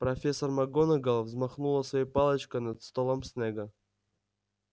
профессор макгонагалл взмахнула своей палочкой над столом снегга